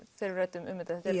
þegar við ræddum um þetta þetta er